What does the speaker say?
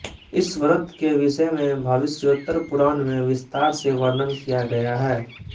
इस व्रत के विषय में भविष्योत्तर पुराण में विस्तार से वर्णन किया गया है